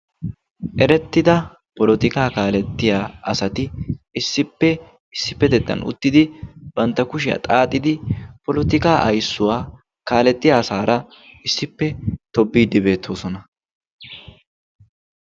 Erettiida polotikaa kaalettiya asati issippe issippettettan uttidi bantta kushiya xaaxidi poletikaa aysuwaa kaaletiya asaara issippe tobbiidi beettoosona.